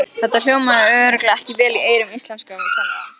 Þetta hljómaði örugglega ekki vel í eyrum íslenskukennarans!